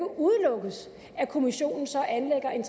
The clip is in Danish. udelukkes at kommissionen så anlægger en